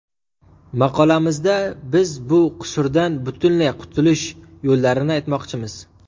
Maqolamizda biz bu qusurdan butunlay qutulish yo‘llarini aytmoqchimiz.